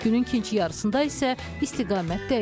Günün ikinci yarısında isə istiqamət dəyişir.